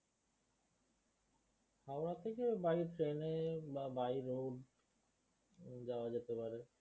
হাওড়া থেকে by train এ বা By road যাওয়া যেতে পারে